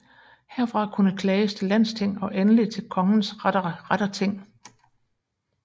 Herfra kunne klages til landsting og endelig til kongens retterting